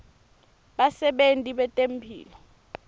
basebenti betemphilo